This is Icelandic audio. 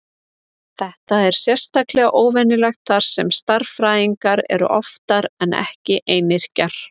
Þetta er sérstaklega óvenjulegt þar sem stærðfræðingar eru oftar en ekki einyrkjar.